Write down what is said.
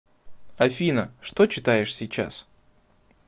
афина что читаешь сейчас